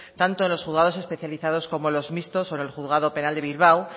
tanto en los juzgados especializados como los mixtos o en el juzgado penal de bilbao